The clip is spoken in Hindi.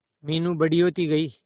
मीनू बड़ी होती गई